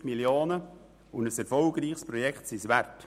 270 Mio. Franken und ein erfolgreiches Projekt sind es wert.